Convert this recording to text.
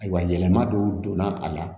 Ayiwa yɛlɛma dɔw donna a la